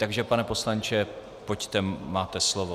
Takže pane poslanče, pojďte, máte slovo.